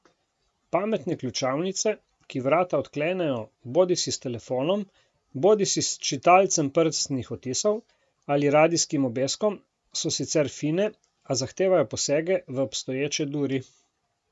Pametne ključavnice, ki vrata odklenejo bodisi s telefonom bodisi s čitalcem prstnih odtisov ali radijskim obeskom, so sicer fine, a zahtevajo posege v obstoječe duri.